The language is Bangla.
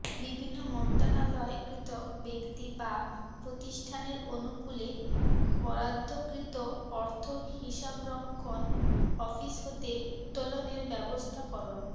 বিভিন্ন মন্ত্রনালয় কর্তৃক ব্যক্তি বা প্রতিষ্ঠানের অনুকূলে বরাদ্ধকৃত অর্থ হিসাবরক্ষণ অফিস হতে উত্তোলনের ব্যবস্থাকরণ